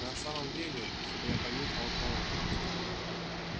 на самом деле чтобы я понюхал пороху